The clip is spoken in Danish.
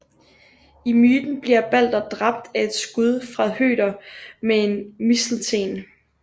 I myten bliver Balder dræbt af et skud fra Høder med en mistelten